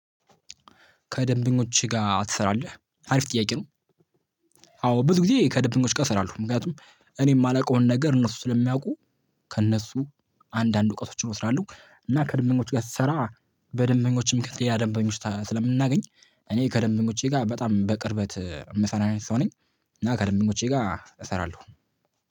ከደንበኞች ጋር ትሰራለህ አሪፍ ጥያቄ ነው? አዎ ብዙ ጊዜ ከደንበኞች ጋር እሰራለሁ ምክንያቱም እኔ የማላውቀውን ነገር እነሱ ስለሚያውቁ ከእነሱ አንዳንድ እውቀቶችን እወስዳለሁ እና ከደንበኞች ጋር ስሰራ በደንበኞችም ከሌላ ደንበኞች ስለምናገኝ እኔ ከደንበኞቼ ጋር በጣም በቅርበት የምሰራ አይነት ሰው ነኝ። እና ከደንበኞቼ ጋር እሰራለሁ።